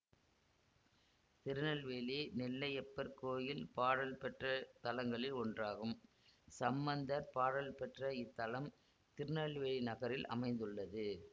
திருநெல்வேலி நெல்லையப்பர் கோயில் பாடல் பெற்ற தலங்களில் ஒன்றாகும் சம்பந்தர் பாடல் பெற்ற இத்தலம் திருநெல்வேலி நகரில் அமைந்துள்ளது